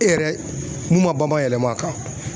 E yɛrɛ mun ma banban yɛlɛma a kan.